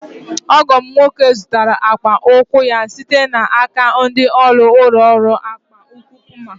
Ọgọ m nwoke zụụrụ akpa ụkwụ ya site n'aka ndị ụlọ ọrụ akpa ụkwụ Puma.